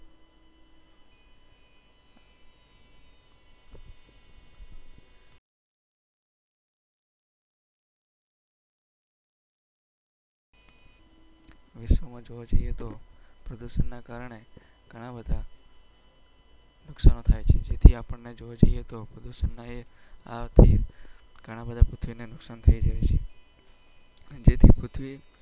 વિશ્વમાં જોવા જઈએ તોના કારણે. થી આપણે જોવા જઈએ તો. ઘણા બધા પૂછીને નુકસાનથી.